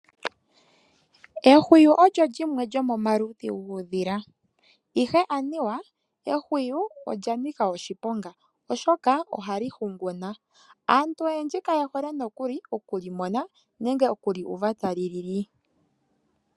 Ehwiyu olyo lyimwe lyomomaludhi guudhila ashike anuwa ehwiyu olya nika oshiponga oshoka oha li hunguna. Aantu oyendji kaye hole nokuli okulimona nenge okuli uva tali lili.